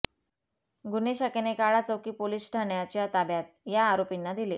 गुन्हे शाखेने काळाचौकी पोलीस ठाण्याच्या ताब्यात या आरोपीना दिले